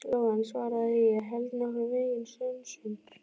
Lóa en svaraði: Ég held nokkurn veginn sönsum.